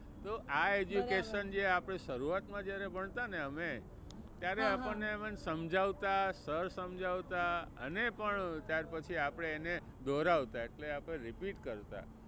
તો આ education જે આપણે શરૂઆત માં જ્યારે ભણતા ને અમે ત્યારે આપણને સમજાવતા, સર સમજાવતા અને પણ ત્યાર પછી આપણે એને દોહરવતા એટલે આપણે repeat કરતા.